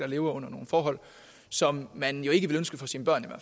lever under nogle forhold som man ikke ville ønske for sine børn